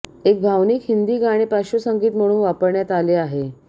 एक भावनिक हिंदी गाणे पार्श्वसंगीत म्हणून वापरण्यात आले आहे